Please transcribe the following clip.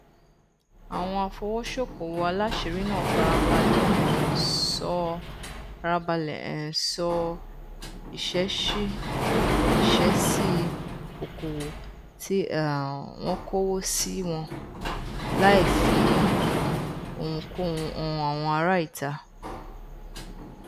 àwọn afowósókowò aláṣìírí náà farabalẹ um ṣọ farabalẹ um ṣọ ìṣesí okowo ti um wọn kowo si wọn láìfi ohunkóhun han àwọn ará ìta